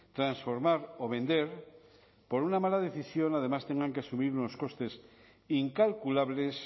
transformar o vender por una mala decisión además tengan que asumir unos costes incalculables